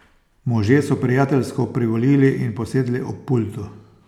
Možje so prijateljsko privolili in posedli ob pultu.